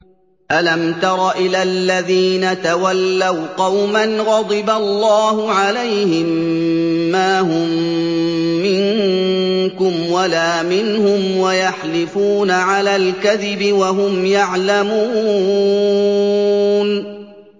۞ أَلَمْ تَرَ إِلَى الَّذِينَ تَوَلَّوْا قَوْمًا غَضِبَ اللَّهُ عَلَيْهِم مَّا هُم مِّنكُمْ وَلَا مِنْهُمْ وَيَحْلِفُونَ عَلَى الْكَذِبِ وَهُمْ يَعْلَمُونَ